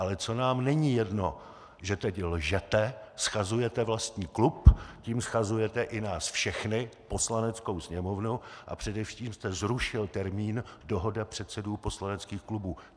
Ale co nám není jedno, že teď lžete, shazujete vlastní klub, tím shazujete i nás všechny, Poslaneckou sněmovnu, a především jste zrušil termín dohoda předsedů poslaneckých klubů.